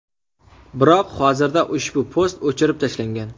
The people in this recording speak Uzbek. Biroq hozirda ushbu post o‘chirib tashlangan.